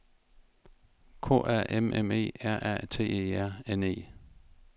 K A M M E R A T E R N E